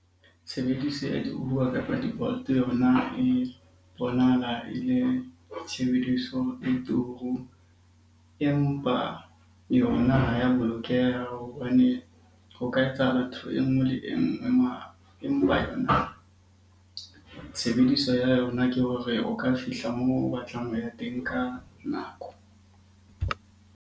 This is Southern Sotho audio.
Tshebediso ya di-Uber kapa di-Bolt yona e bonahala e le tshebediso e turu, empa yona ha ya bolokeha hobane ho ka etsahala enngwe le enngwe. Empa yona tshebediso ya yona ke hore o ka fihla moo o batlang ho ya teng ka nako.